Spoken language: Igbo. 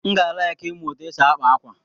M ga-alaịki ịmụ ụtụ esi akpa ákwà.